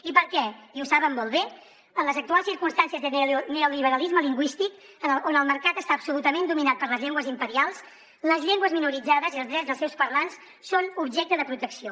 i perquè i ho saben molt bé en les actuals circumstàncies de neoliberalisme lingüístic on el mercat està absolutament dominat per les llengües imperials les llengües minoritzades i els drets dels seus parlants són objecte de protecció